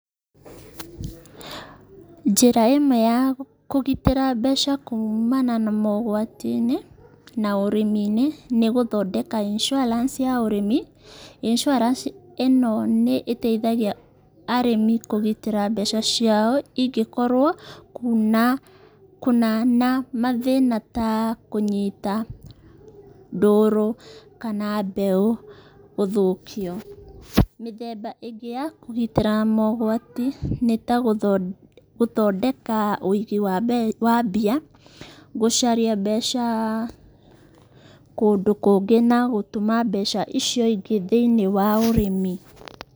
Njĩra ĩmwe ya kũgitĩra mbeca kuumana na mogwatiinĩ na ũrĩmiinĩ nĩgũthondeka inssuarance ya ũrĩmi, inssuarance ĩno nĩ ĩteithagia arĩmi kũgitĩra mbeca ciao ingĩkorwo kuuma kũna na mathĩna ta kũnyita mbũrũ kana mbeũ gũthũkio. Mĩthemba ĩngĩ ya kũgitĩra mogwati nĩ ta gũthondeka wĩigĩ wa mbia, gũcaria mbeca kũndũ kũngĩ na gũtũma mbeca icio ingĩ thĩiniĩ wa ũrĩmi.